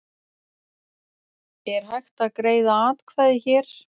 Er hægt að greiða atkvæði hér